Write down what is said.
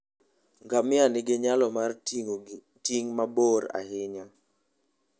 Ngamia nigi nyalo mar ting'o ting' mabor ahinya.